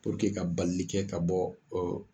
ka balili kɛ ka bɔ